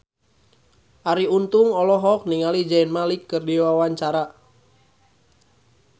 Arie Untung olohok ningali Zayn Malik keur diwawancara